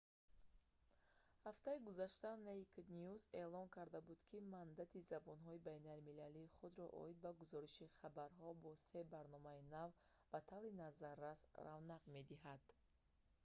ҳафтаи гузашта «naked news» эълон карда буд ки мандати забонҳои байналмилалии худро оид ба гузориши хабарҳо бо се барномаи нав ба таври назаррас равнақ медиҳад